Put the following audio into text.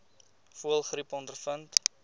voëlgriep ondervind